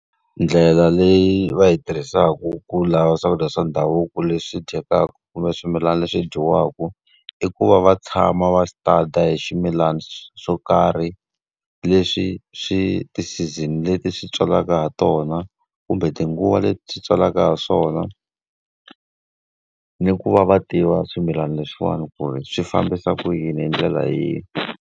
Ndlela leyi va yi tirhisaka ku lava swakudya swa ndhavuko leswi dyekaka kumbe swimilana leswi dyiwaka, i ku va va tshama va stada hi swimilana swo karhi, leswi swi ti-season leti swi tswalaka ha tona, kumbe tinguva leti swi tswalaka ha swona, ni ku va va tiva swimilana leswiwani ku ri swi fambisa ku yini hi ndlela leyi.